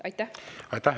Aitäh!